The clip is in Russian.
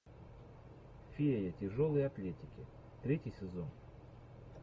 фея тяжелой атлетики третий сезон